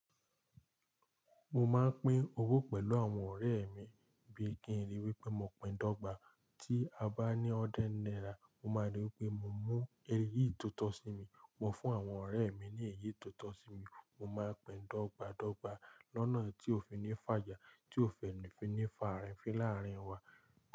Mo máa ń pín owó pẹ̀lú àwọn ọ̀rẹ́ mi bí i kí n rí wí pé mo pín dọ́gba. Tí a bá ní hundred náírà, mo máa rí i pé mo mú èyí tó tọ́ sí mi, mo fún àwọn ọ̀rẹ́ mi ní èyí tó tọ́ sí wọn. Mo máa ń pín dọ́gba dọ́gba lọ́nà tí ó fi ní fàjà, tí ó fi ní fà arín fín láàárín wa.